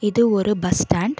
இது ஒரு bus stand .